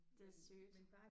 Det er sygt